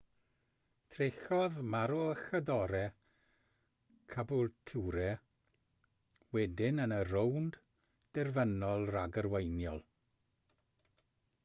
trechodd maroochydore caboolture wedyn yn y rownd derfynol ragarweiniol